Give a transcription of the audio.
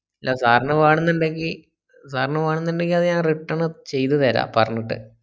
ല്ലാ sir ന് വെണ്ണന്നിണ്ടങ്കി sir ന് വെണ്ണന്നിണ്ടങ്കി അത് ഞാൻ return ചെയ്ത് തരാം പറഞ്ഞിട്ട്